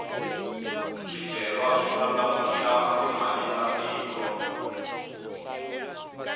swicelwa swi ndlandlamuxa timali ta tiko